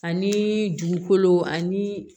Ani dugukolo ani